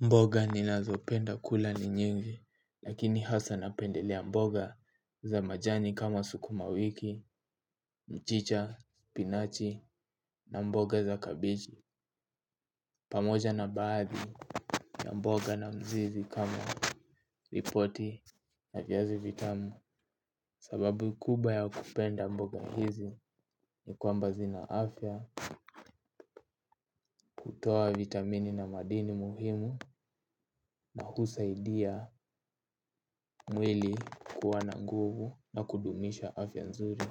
Mboga ninazopenda kula ni nyingi, lakini hasa napendelea mboga za majani kama sukuma wiki, mchicha, spinachi na mboga za kabichi. Pamoja na baadhi ya mboga na mzizi kama ripoti na vyazi vitamu. Sababu kubwa ya kupenda mboga hizi ni kwamba zina afya, hutoa vitamini na madini muhimu na husaidia mwili kuwa na nguvu na kudumisha afya nzuri.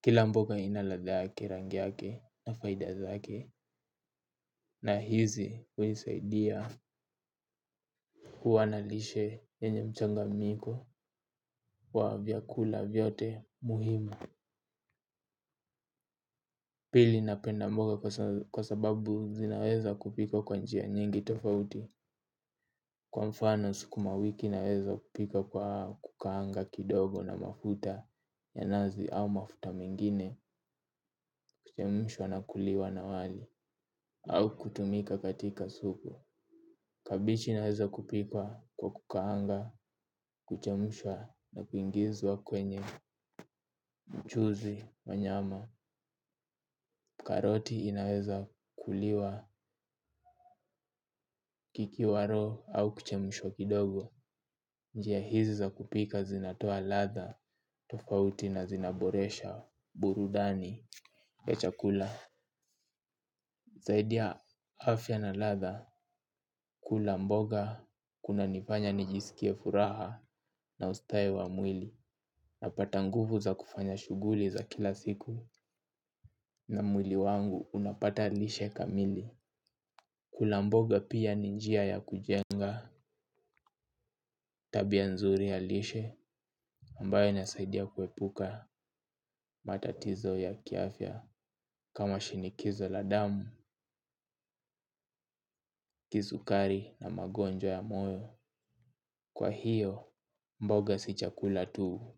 Kila mboga ina ladha, rangi yake na faida zake, na hizi hunisaidia kuwa na lishe yenye mchanganyiko wa vyakula vyote muhimu. Pili napenda mboga kwa sababu zinaweza kupikwa kwa njia nyingi tofauti. Kwa mfano, sukuma wiki naweza kupika kwa kukaanga kidogo na mafuta ya nazi au mafuta mengine, kuchemshwa na kuliwa na wali, au kutumika katika supu. Kabichi naweza kupika kwa kukaanga, kuchemshwa na kuingizwa kwenye mchuzi na nyama, karoti inaweza kuliwa kikiwa raw au kuchemshwa kidogo. Njia hizi za kupika zinatoa ladha tofauti na zinaboresha burudani ya chakula. Zaidi ya afya na ladha, kula mboga kunanifanya nijisikie furaha na ustawi wa mwili. Napata nguvu za kufanya shughuli za kila siku na mwili wangu unapata lishe kamili. Kula mboga pia ni njia ya kujenga tabia nzuri ya lishe ambayo inasaidia kuepuka matatizo ya kiafya kama shinikizo la damu, kisukari na magonjwa ya moyo. Kwa hiyo, mboga si chakula tu.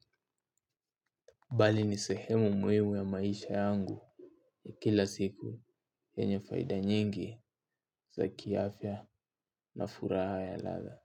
Bali ni sehemu muhimu ya maisha yangu ya kila siku yenye faida nyingi za kiafya na furaha ya ladha.